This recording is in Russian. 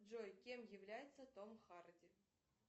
джой кем является том харди